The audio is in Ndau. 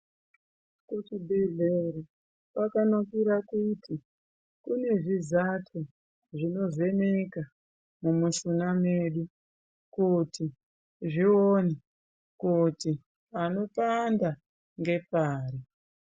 Kuchibhedhlera kwakanakira kuti kune zvizati zvinovheneka mumushuna mwedu kuti zvione kuti panopanda ngepari.